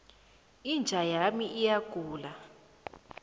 inja yami iyagula